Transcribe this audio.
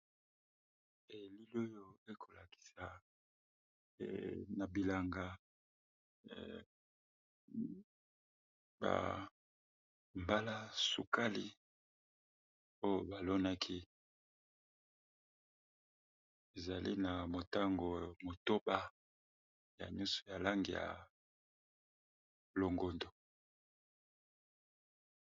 Elili oyo ekolakisa na bilanga bambalasukali oyo balonaki ezali na motango motoba ya nyonso ya lange ya longondo.